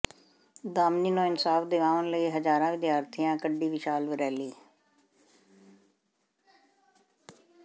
ਦਾਮਿਨੀ ਨੂੰ ਇਨਸਾਫ ਦਿਵਾਉਣ ਲਈ ਹਜ਼ਾਰਾਂ ਵਿਦਿਆਰਥਣਾਂ ਕੱਢੀ ਵਿਸ਼ਾਲ ਰੈਲੀ